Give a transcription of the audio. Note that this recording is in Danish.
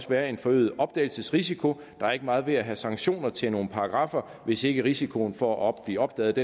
være en forøget opdagelsesrisiko der er ikke meget ved at have sanktioner til nogle paragraffer hvis ikke risikoen for at blive opdaget